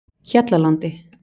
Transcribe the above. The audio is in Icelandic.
Hjallalandi